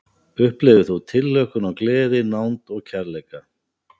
Upplifðir þú tilhlökkun og gleði, nánd og kærleika?